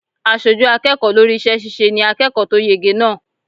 Aṣojú akẹ́kọ̀ọ́ lórí iṣẹ́ ṣíṣe ni akẹ́kọ̀ọ́ tó yege náà.